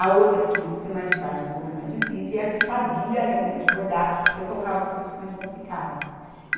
A outra que tinha um pouquinho mais de prática, um pouquinho mais difícil, e a que sabia realmente bordar, eu colocava o serviço mais complicado.